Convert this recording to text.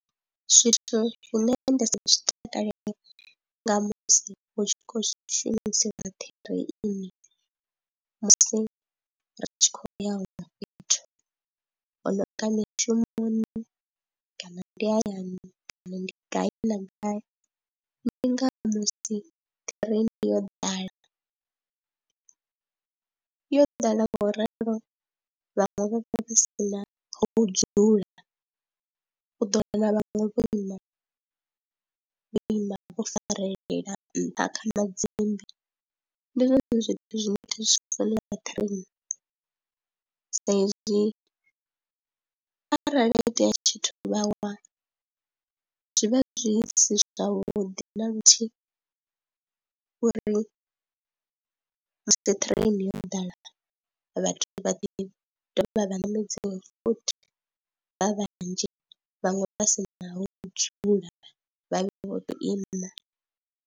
Zwithu hune nda si zwi takalele nga musi hu tshi khou shumisiwa ṱireni musi ri tshi khou ya huṅwe fhethu ho nonga mishumoni kana ndi hayani kana ndi gai na gai, ndi nga musi ṱireini yo ḓala, yo ḓala ngauralo vhaṅwe vha vha si na ho dzula, u ḓo wana na vhaṅwe vho ima, vho ima vho farelela nṱha kha madzimbi. Ndi zwone zwithu zwine thi zwi funi kha ṱireni sa izwi arali ha itea tshithu vha wa, zwi vha zwi si zwavhuḓi na luthihi uri musi ṱireni yo ḓala vhathu vha ḓi dovha vha vha ṋamedziwe futhi vha vhanzhi vhaṅwe vha si na ho dzula vha vhe vho tou ima.